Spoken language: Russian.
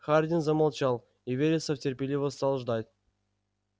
хардин замолчал и вересов терпеливо стал ждать